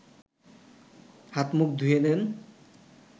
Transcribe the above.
হাত-মুখ ধুয়ে দেন